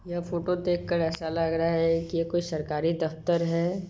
यह फोटो देख कर ऐसा लग रहा है की कोई सरकारी द्र्क्टर है।